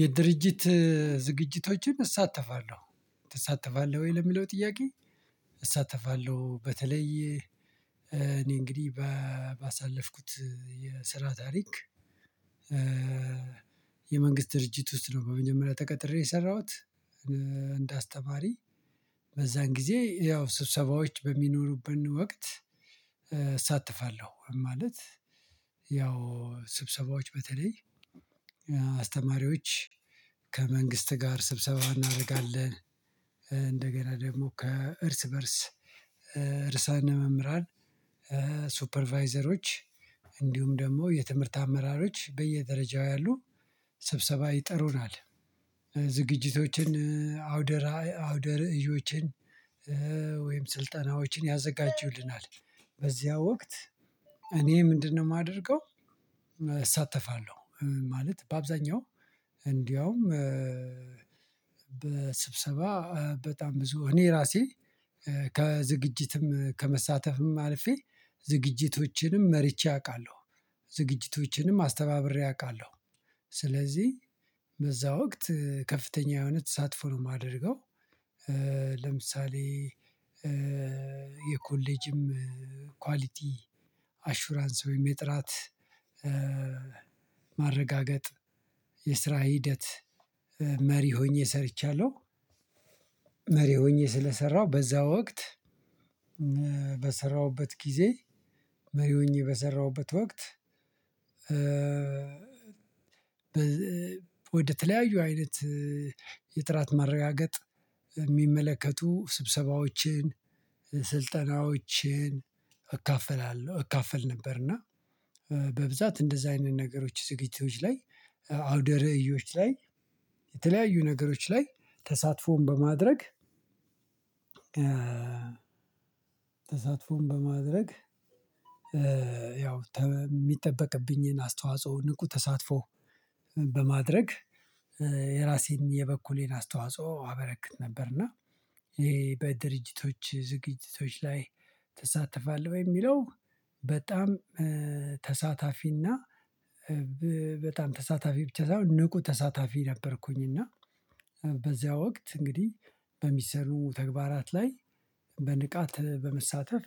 የድርጅት ዝግጅቶችን እሳተፋለሁ? ትሳተፋለህ ወይ ለሚለው ጥያቄ እሳተፋለሁ በተለይ እኔ እንግዲህ ባሳለፍኩት የስራ ታሪክ። የመንግስት ድርጅት ውስጥ ነው በመጀመሪያ ተቀጥሬ የሰራሁት። እንድ አስተማሪ በዛን ጊዜ ያው ስብሰባዎች በሚኖሩብን ወቅት እሳተፋለሁ ማለት ያው ስብሰባዎች በተለይ እኛ አስተማሪዎች ከመንግስት ጋር ስብሰባ እናደርጋለን። እንደገና ደግሞ ከእርስ በእርስ እርሳነ መምህራን ሱፐርቫይዘሮች እንዲሁም ደግሞ የትምህርት አመራሮች በየደረጃው ያሉ ሰብሰባ ጥሩናል። ዝግጅቶችን አውደራ አውደር እዮችን ወይም ስልጠናዎችን ያዘጋጁልናል በዚያ ወቅት እኔ ምንድነው የማደርገው? እሳተፋለሁ ማለት በአብዛኛው እንደውም በስብሰባ በጣም ብዙ እኔ ራሴ ከዝግጅትም ከመሳተፍም አልፌ ዝግጅቶችንም መርቼ አውቃለሁ ዝግጅቶችንም አስተባብሬ አውቃለሁ ስለዚህ በዛ ወቅት ከፍተኛ የሆነ ተሳትፎ ነው የማደርገው። ለምሳሌ የኮሌጅም ኳሊቲ አሹራንስ ወይም የጥራት ማረጋገጥ የስራ ሂደት መሪ ሆኜ ሰርቻለሁ። መሪ ሆኜ ስለሰራሁ በዛ ወቅት በሰራሁበት ጊዜ መሪ ሆኜ በሰራሁበት ወቅት ወደተለያዩ አይነት የጥራት ማረጋገጥ የሚመለከቱ ስብሰባዎችን ስልጠናዎችን እካፈላለሁ እካፈል ነበር። እና በብዛት እንደዛ አይነት ነገሮች ዝግጅቶች ላይ አውደ ርእዮች ላይ የተለያዩ ነገሮች ላይ ተሳትፎን በማድረግ ተሳትፎን በማድረግ ያው የሚጠበቅብኝን አስተዋጽኦ ንቁ ተሳትፎ በማድረግ የራሴን የበኩሌን አስተዋጽኦ አበረክት ነበር። እና ይሄ በድርጅቶች ዝግጅቶች ላይ ትሳተፋለህ ወይ የሚለው? በጣም ተሳታፊና በጣም ተሳታፊ ብቻ ሳይሆን ንቁ ተሳታፊ ነበርኩኝ። እና በዚያ ወቅት እንግዲህ በሚሰሩ ተግባራት ላይ በንቃት በመሳተፍ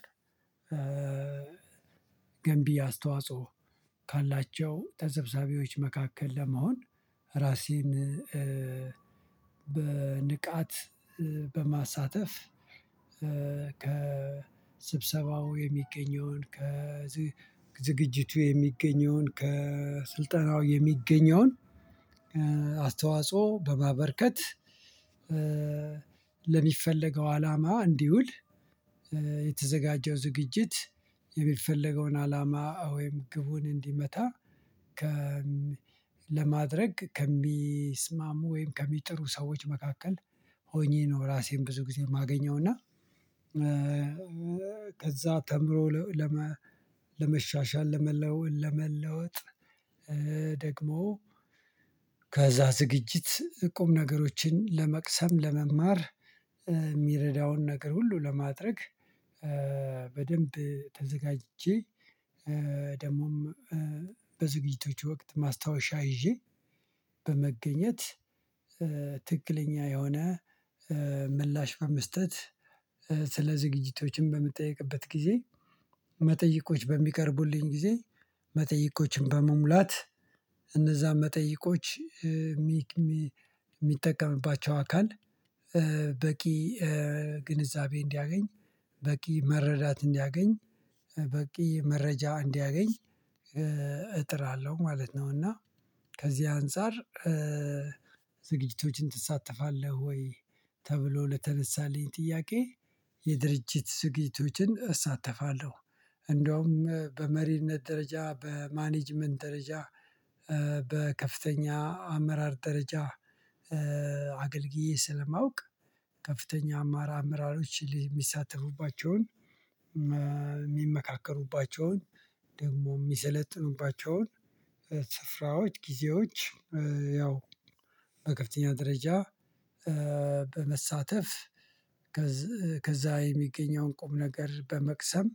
ገንቢ አስተዋጽኦ ካላቸው ተሰብሳቢዎች መካከል ለመሆን ራሴን በንቃት በማሳተፍ ከስብሰባው የሚገኘውን ከ ከዝግጅቱ የሚገኘውን ከስልጠናው የሚገኘውን አስተዋጽኦ በማበርከት ለሚፈለገው አላማ እንዲውል የተዘጋጀው ዝግጅት የሚፈለገውን አላማ ወይም ግቡን እንዲመታ ከ ለማድረግ ከሚስማሙ ወይም ከሚጥሩ ሰዎች መካከል ሆኜ ነው። ራሴን ብዙ ጊዜ የማገኘው እና ከዛ ተምሮ ለመሻሻል ለመለወጥ ለመለወጥ ደግሞ ከዛ ዝግጅት ቁም ነገሮችን ለመቅሰም ለመማር የሚረዳውን ነገር ሁሉ ለማድረግ በደንብ ተዘጋጅቼ ደግሞም በዝግጅቶች ወቅት ማስታወሻ ይዤ በመገኘት ትክክለኛ የሆነ ምላሽ በመስጠት ስለ ዝግጅቶችም በምጠይቅበት ጊዜ መጠይቆች በሚቀርቡልኝ ጊዜ መጠይቆችን በመሙላት እነዛን መጠይቆች ሚጠቀምባቸው አካል በቂ ግንዛቤ እንዲያገኝ በቂ መረዳት እንዲያገኝ በቂ መረጃ እንዲያገኝ እጥራለሁ ማለት ነው። እና ከዚህ አንፃር ዝግጅቶችን ትሳተፋለህ ወይ ተብሎ ለተነሳልኝ ጥያቄ? የድርጅት ዝግጅቶችን እሳተፋለሁ እንደውም በመሪነት ደረጃ በማኔጅመንት ደረጃ በከፍተኛ አመራር ደረጃ አገልግዬ ስለማውቅ ከፍተኛ አማራ አመራሮች የሚሳተፉባቸውን የሚመካከሩባቸውን ደግሞ የሚሰለጥኑባቸውን ስፍራዎች ጊዜዎች ያው በከፍተኛ ደረጃ በመሳተፍ ከዛ የሚገኘውን ቁም ነገር በመቅሰም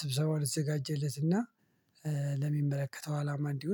ስብሰባውን ለተዘጋጀለት እና ለሚመለከተው አላማ እንዲዉል